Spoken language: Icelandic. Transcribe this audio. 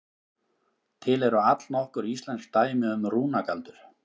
Til eru allnokkur íslensk dæmi um rúnagaldur.